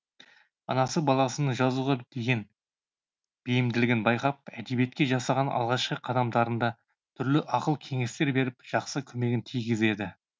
анасы баласының жазуға деген бейімділігін байқап әдебиетке жасаған алғашқы қадамдарында түрлі ақыл кеңестер беріп жақсы көмегін тигізеді